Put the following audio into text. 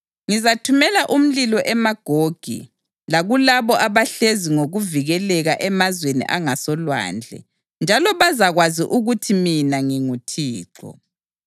Ngizathumela umlilo eMagogi lakulabo abahlezi ngokuvikeleka emazweni angasolwandle, njalo bazakwazi ukuthi mina nginguThixo.